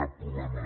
cap problema